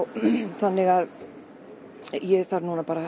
þannig að ég þarf núna bara